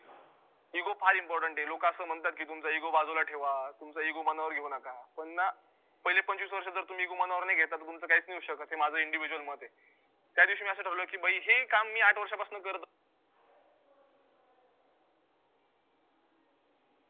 Ego फार important आहे. लोकं असं म्हणतात की तुमचा ego बाजूला ठेवा. तुमचा ego मनावर घेऊ नका, पण ना पहिले पंचवीस वर्ष जर तुम्ही ego मनावर नाही घेतला तर तुमचं काहीच नाही होऊ शकतं, हे माझं individual मत आहे, त्यादिवशी मी असं ठरवलं की भाई हे काम मी आठ वर्षांपासनं करत